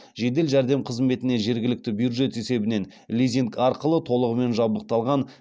жедел жәрдем қызметіне жергілікті бюджет есебінен лизинг арқылы толығымен жабдықталған